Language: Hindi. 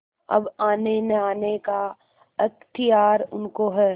अब आनेनआने का अख्तियार उनको है